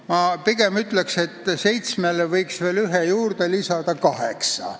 Ma pigem ütleksin, et seitsmele võiks veel ühe mandaadi juurde lisada, nii et oleks kaheksa.